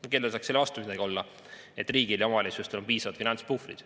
" No kellel saaks olla midagi selle vastu, et riigil ja omavalitsustel on piisavad finantspuhvrid.